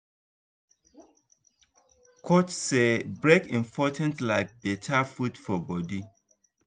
coach say break important like better food for body.